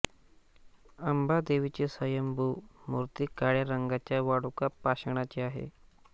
अंबादेवीची स्वयंभू मूर्ती काळ्या रंगाच्या वाळुका पाषाणाची आहे